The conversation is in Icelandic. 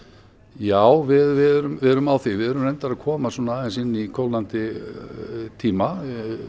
já við erum við erum á því við erum reyndar að koma aðeins inn í kólnandi tíma